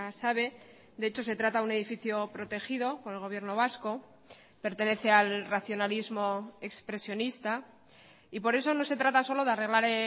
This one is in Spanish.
sabe de hecho se trata de un edificio protegido por el gobierno vasco pertenece al racionalismo expresionista y por eso no se trata solo de arreglar